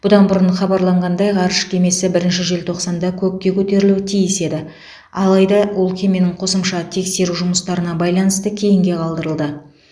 бұдан бұрын хабарланғандай ғарыш кемесі бірінші желтоқсанда көкке көтерілуі тиіс еді адайда ол кеменің қосымша тексеру жұмыстарына байланысты кейінге қалдырылды